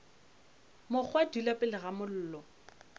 mokgwa dula pele ga mollo